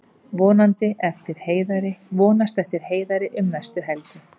Vonast eftir Heiðari um næstu helgi